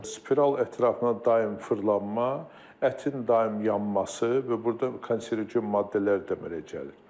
spiral ətrafına daim fırlanma, ətin daim yanması və burda konserogen maddələr də əmələ gəlir.